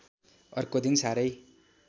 अर्को दिन साह्रै